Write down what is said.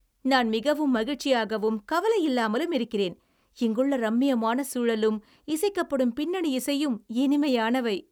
நான் மிகவும் மகிழ்ச்சியாகவும் கவலையில்லாமலும் இருக்கிறேன், இங்குள்ள ரம்மியமான சூழலும் இசைக்கப்படும் பின்னணி இசையும் இனிமையானவை!